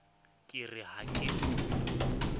ke re ha ke no